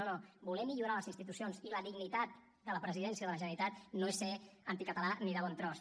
no no voler millorar les institucions i la dignitat de la presidència de la generalitat no és ser anticatalà ni de bon tros